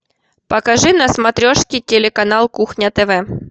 покажи на смотрешке телеканал кухня тв